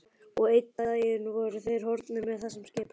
Og einn dag voru þeir horfnir með þessum skipum.